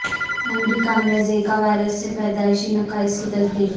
امریکہ میں Zika virus سے پیدائشی نقائص کی تصدیق